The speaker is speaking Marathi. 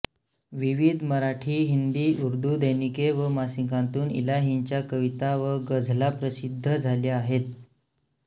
विविध मराठी हिंदी उर्दू दैनिके व मासिकांतून इलाहींच्या कविता व गझला प्रसिद्ध झाल्या आहेत